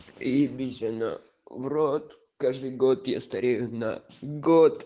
ебись оно в рот каждый год я старею на год